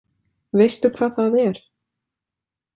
Veistu hvað það er?